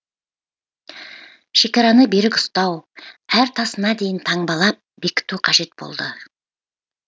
шекараны берік ұстау әр тасына дейін таңбалап бекіту қажет болды